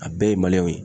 A bɛɛ ye ye